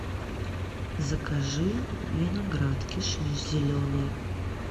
закажи виноград кишмиш зеленый